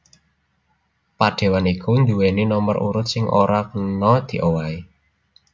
Padéwan iku nduwèni nomer urut sing ora kena diowahi